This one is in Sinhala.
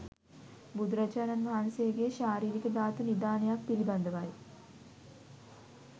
බුදුරජාණන් වහන්සේගේ ශාරීරික ධාතු නිධානයක් පිළිබඳවයි.